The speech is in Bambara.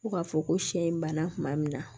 Fo ka fɔ ko siɲɛ in banna kuma min na